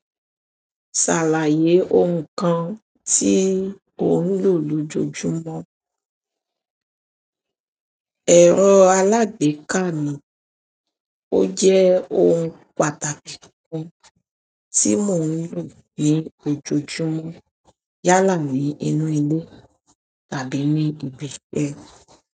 Ṣàlàyé ohun kan tí ò ń lò lójoojúmọ́. Ẹ̀rọ alágbèéká ni ó jẹ́ ohun pàtàkì kan tí mò ń lò ní ojoojúmọ́ yálà ní inú ilé tàbí ní ibi iṣẹ́.